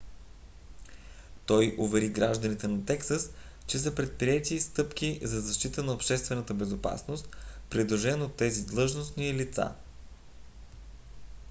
той увери гражданите на тексас че са предприети стъпки за защита на обществената безопасност придружен от тези длъжностни лица